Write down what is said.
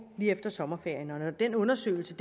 lige efter sommerferien og når den undersøgelse